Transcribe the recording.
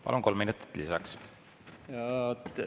Palun, kolm minutit lisaks!